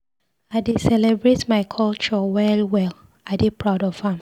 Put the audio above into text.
I dey celebrate my culture well well, I dey proud of am.